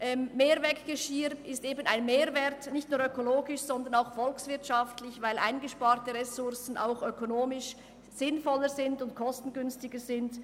Mehrweggeschirr hat eben einen Mehrwert, nicht nur ökologisch, sondern auch volkswirtschaftlich, weil eingesparte Ressourcen auch ökonomisch sinnvoller und kostengünstiger sind.